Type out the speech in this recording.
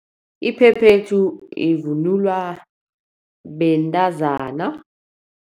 Iphephethu ivunulwa bentazana.